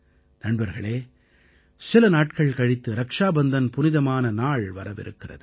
நண்பர்களே சில நாட்கள் கழித்து ரக்ஷாபந்தன் புனிதமான நாள் வரவிருக்கிறது